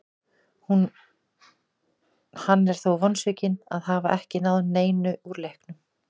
Hann er þó vonsvikinn að hafa ekki náð neinu úr leiknum.